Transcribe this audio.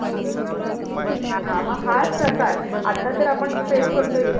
हा ना. हाच प्रकार. आता जर आपण face करतोय कि नाही